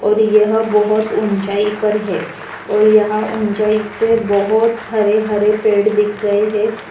और यह बहोत ऊंचाई पर है और यहां ऊंचाई से बोहोत हरे-हरे पेड़ दिख रहे हे।